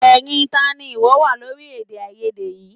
Ẹyin tá ni ìwọ wà lórí èdèàìyedè yìí?